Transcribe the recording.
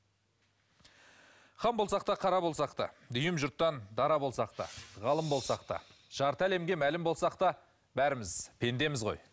хан болсақ та қара болсақ та дүйім жұрттан дара болсақ та ғалым болсақ та жарты әлемге мәлім болсақ та бәріміз пендеміз ғой